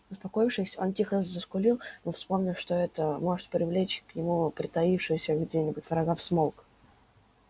успокоившись он тихо заскулил но вспомнив что это может привлечь к нему притаившегося где нибудь врага смолк